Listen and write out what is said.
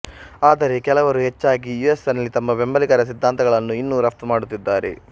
ಆದರೆ ಕೆಲವರು ಹೆಚ್ಚಾಗಿ ಯುಎಸ್ನಲ್ಲಿ ತಮ್ಮ ಬೆಂಬಲಿಗರ ಸಿದ್ಧಾಂತಗಳನ್ನು ಇನ್ನೂ ರಫ್ತು ಮಾಡುತ್ತಿದ್ದಾರೆ